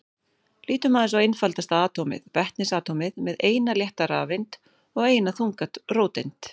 Lítum aðeins á einfaldasta atómið, vetnisatómið með eina létta rafeind og eina þunga róteind.